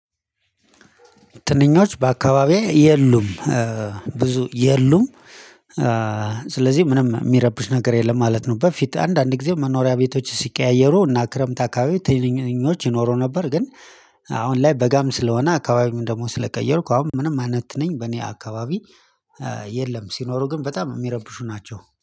ትንኞች በአካባቢዬ የሉም ብዙ የሉም። ስለዚህ ምንም የሚረብሽ ነገር የለም ማለት ነው። በፊት አንዳንድ ጊዜ መኖሪያ ቤቶች ሲቀያየሩ እና ክረምት አካባቢ ትንኞች ይኖሩ ነበር። ግን አሁን ላይ በጋም ስለሆነ አካባቢም ደግሞ ስለቀየርኩ አሁን ምንም አይነት ትንኝ በእኔ አካባቢ የለም። ሲኖሩ ግን በጣም የሚረብሹ ናቸው